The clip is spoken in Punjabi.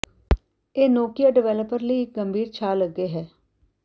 ਇਹ ਨੋਕੀਆ ਡਿਵੈਲਪਰ ਲਈ ਇੱਕ ਗੰਭੀਰ ਛਾਲ ਅੱਗੇ ਹੈ